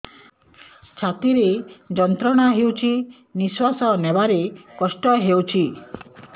ଛାତି ରେ ଯନ୍ତ୍ରଣା ହେଉଛି ନିଶ୍ଵାସ ନେବାର କଷ୍ଟ ହେଉଛି